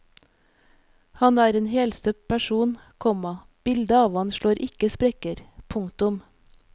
Han er en helstøpt person, komma bildet av ham slår ikke sprekker. punktum